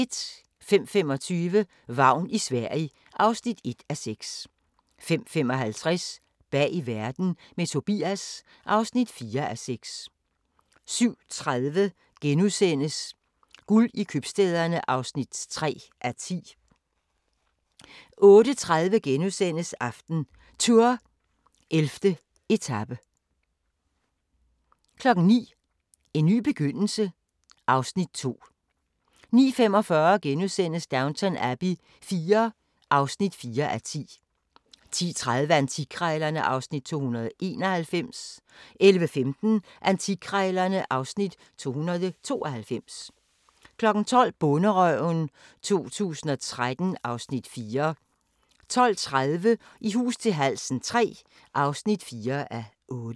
05:25: Vagn i Sverige (1:6) 05:55: Bag verden – med Tobias (4:6) 07:30: Guld i købstæderne (3:10)* 08:30: AftenTour: 11. etape * 09:00: En ny begyndelse (Afs. 2) 09:45: Downton Abbey IV (4:10)* 10:30: Antikkrejlerne (Afs. 291) 11:15: Antikkrejlerne (Afs. 292) 12:00: Bonderøven 2013 (Afs. 4) 12:30: I hus til halsen III (4:8)